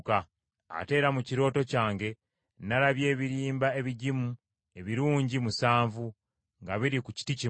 “Ate era mu kirooto kyange nalabye ebirimba ebigimu ebirungi musanvu nga biri ku kiti kimu,